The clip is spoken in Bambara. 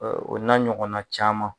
O na ɲɔgɔnna caman.